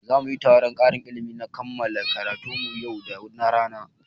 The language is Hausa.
Za muyi taron ƙarin ilimi na kammala karatun mu yau da rana